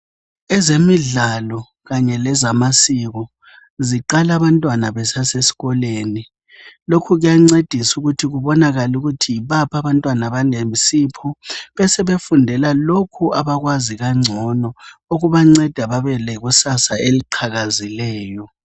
Ezemidlalo kanye lezamasiko, ziqala abantwana besaseskoleni. Loku kuyancedisa ukuthi kubonakale ukuthi yibaphi abantwana abane sipho, besebefundela lokho abakwazi kangcono, okubanceda babe lekusasa eliqhakazileyo.